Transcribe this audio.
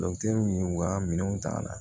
y'u ka minɛnw ta ka na